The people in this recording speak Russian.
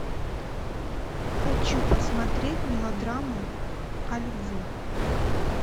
хочу посмотреть мелодраму о любви